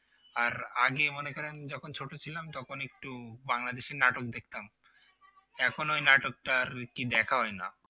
আর আগে মনে করেন যখন ছোট ছিলাম তখন একটু বাংলাদেশী নাটক দেখতাম এখন ওই নাটকটা আর কি দেখা হয় না